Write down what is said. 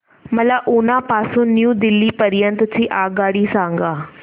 मला उना पासून न्यू दिल्ली पर्यंत ची आगगाडी सांगा